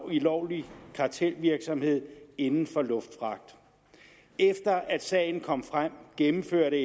i ulovlig kartelvirksomhed inden for luftfragt efter at sagen kom frem gennemførte